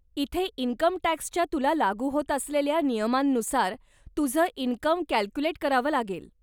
इथे इन्कमटॅक्सच्या तुला लागू होत असलेल्या नियमांनुसार तुझं इनकम कॅल्क्युलेट करावं लागेल.